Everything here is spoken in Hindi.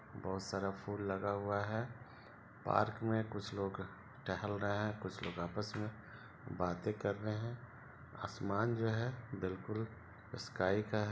बहुत सारा फुल लगा हुआ है पार्क में कुछ लोग टहल रहे है कुछ लोग आपस में बाते कर रहे है और असमान जो है बिलकुल स्काई का है |